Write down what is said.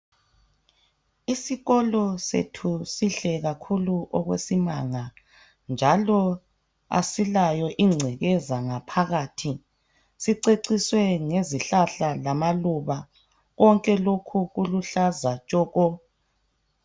Isikolo sethu sihle kakhulu okwesimanga njalo asilayo ingckeza ngaphathi, siceciswe ngezihlahla lamaluba, konke lokhu kuluhlaza tshoko.